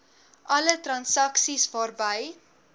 alle transaksies waarby